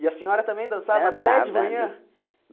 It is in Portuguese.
E a senhora também dançava dançava até de manhã?